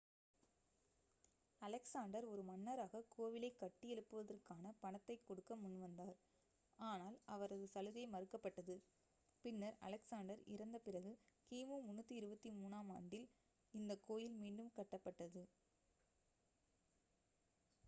Alexander ஒரு மன்னராக கோவிலைக் கட்டியெழுப்புவதற்கான பணத்தைக் கொடுக்க முன்வந்தார் ஆனால் அவரது சலுகை மறுக்கப்பட்டது பின்னர் அலெக்சாண்டர் இறந்த பிறகு கிமு 323-ஆம் ஆண்டில் இந்த கோயில் மீண்டும் கட்டப்பட்டது